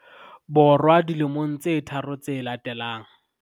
Bo rwa dilemong tse tharo tse latelang.